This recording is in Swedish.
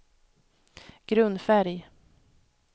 grundfärg